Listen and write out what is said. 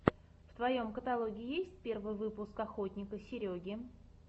в твоем каталоге есть первый выпуск охотника сереги